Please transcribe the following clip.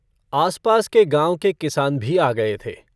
आस-पास के गाँव के किसान भी आ गए थे।